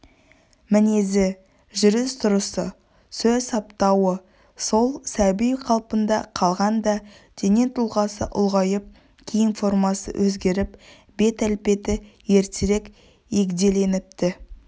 мінезі жүріс-тұрысы сөз саптауы сол сәби қалпында қалған да дене тұлғасы ұлғайып киім формасы өзгеріп бет-әлпеті ертерек егделеніпті